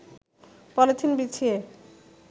polythene বিছিয়ে